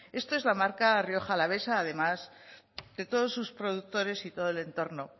esto es la marca rioja alavesa además de todos sus productores y todo el entorno